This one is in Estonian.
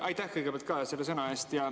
Aitäh kõigepealt sõna eest!